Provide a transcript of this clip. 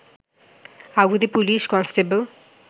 আগুনে police constable